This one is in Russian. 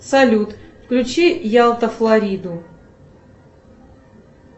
салют включи ялта флориду